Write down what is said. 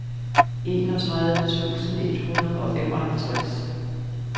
enogtredive tusind et hundrede og femoghalvtreds